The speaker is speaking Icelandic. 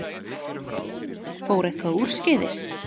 Fór eitthvað úrskeiðis?